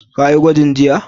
Ka yi gwajin jiya?